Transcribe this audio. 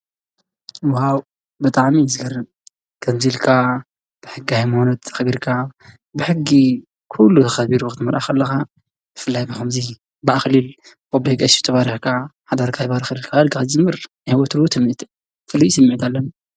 ዋው! ብጣዕሚ ዝገርም ከምዚ ኢልካ ሕጊ ሃይማኖት ኣክቢርካ ብሕጊ ኩሉ ከቢሩ ክትመርዖ ከለካ ብፍላይ ብከምዚ ብኣክሊል ብ ኣቦይ ቀሺ ተባርኽካ ሓዳርኻ ይባርከልካ ክትዝምር ናይ ወትሩ ትምኒተይ እዩ ፍሉይ ስምዒት ኣለኒ።